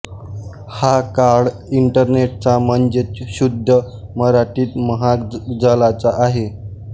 हा काळ इंटरनेटचा म्हणजेच शुद्ध मराठीत महाजालाचा आहे